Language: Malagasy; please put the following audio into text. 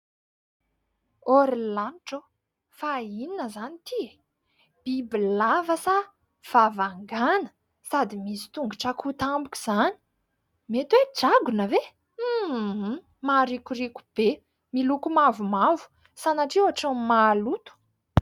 ôry lanitra ô ! Fa inona izany ity e ? Bibilava sa vavan-gana ? Sady misy tongotra akoho tampoka izany ! Mety hoe dragona ve ? Maharikoriko be, miloko mavomavo, sanatria ho ohatran'ny maloto.